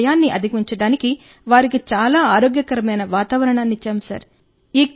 వారి భయాన్ని అధిగమించడానికి వారికి చాలా ఆరోగ్యకరమైన వాతావరణాన్ని ఇచ్చాం సార్